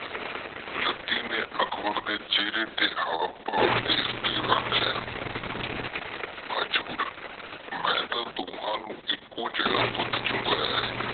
ਓਹਦੇ ਬਾਪ ਫਰੀਰ ਦਾ ਵਿਧਰੋਹੀ ਖੂਨ ਓਹਦੀਆਂ ਰੱਗਾਂ ਵਿਚ ਦੌੜ ਰਿਹਾ ਆ ਇਹ ਖੂਨ ਕਿਸੇ ਵੇਲੇ ਵੀ ਉਬਾਲਾ ਖਾ ਸਕਦਾ ਸੀ।